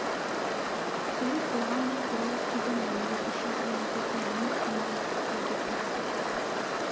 себеп болған деп перовскийдің ойын дұрыс жазған ететін ең тиімді жол деп тапты